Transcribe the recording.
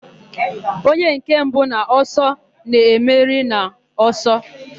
Onye nke mbụ n'ọsọ na-emeri n'ọsọ.